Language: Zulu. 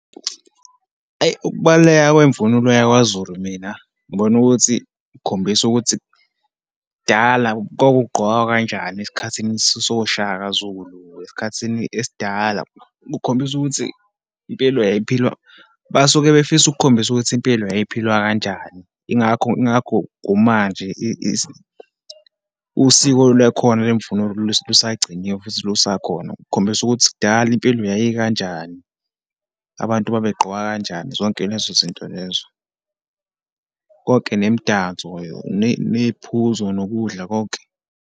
Ayi, ukubaluleka kwemvunulo yakwaZulu. Mina, ngibona ukuthi kukhombisa ukuthi dala kwakugqokwa kanjani esikhathini soShaka Zulu, esikhathini esidala. Kukhombisa ukuthi impilo yayiphilwa, basuke befisa ukukhombisa ukuthi impilo yayiphilwa kanjani. Yingakho, yingakho kumanje usiko lwakhona lwemvunulo lusagciniwe futhi lusakhona, kukhombisa ukuthi kudala impilo yayikanjani, abantu babegqoka kanjani, zonke lezo zinto lezo, konke nemidanso, neyiphuzo, nokudla konke.